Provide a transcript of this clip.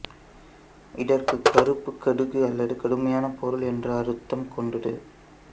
இதற்கு கருப்பு கடுகு அல்லது கடுமையான பொருள் என்ற அர்த்தம் கொண்டது